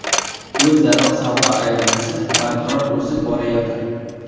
O‘zaro savdo aylanmasi barqaror o‘sib borayotir.